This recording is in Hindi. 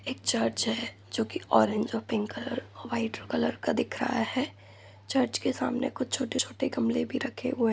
एक चर्च है जो की ओरेंज और पिंक कलर व्हाइट कलर का दिख रहा है चर्च के सामने कुछ छोटे छोटे गमले भी रखे हुए हैं।